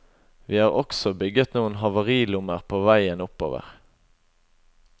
Vi har også bygget noen havarilommer på veien oppover.